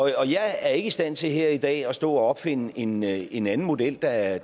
jeg er ikke i stand til her i dag at stå og opfinde en en anden model der er